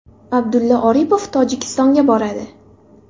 Abdulla Aripov Tojikistonga boradi.